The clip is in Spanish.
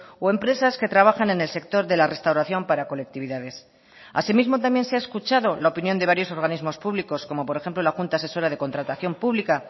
o empresas que trabajan en el sector de la restauración para colectividades asimismo también se ha escuchado la opinión de varios organismos públicos como por ejemplo la junta asesora de contratación pública